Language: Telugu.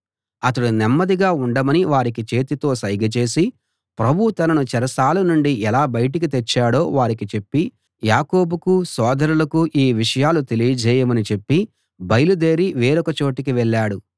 అతడు నెమ్మదిగా ఉండమని వారికి చేతితో సైగ చేసి ప్రభువు తనను చెరసాల నుండి ఎలా బయటికి తెచ్చాడో వారికి చెప్పి యాకోబుకూ సోదరులకూ ఈ విషయాలు తెలియజేయమని చెప్పి బయలుదేరి వేరొక చోటికి వెళ్ళాడు